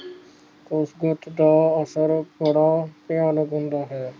ਇਕਜੁਟ ਦਾ ਅਸਰ ਬੜਾ ਭਿਆਨਕ ਹੁੰਦਾ ਹੈ